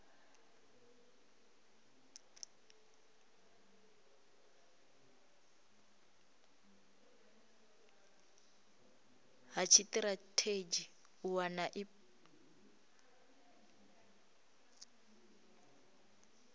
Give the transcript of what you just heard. ha tshitirathedzhi u wana ip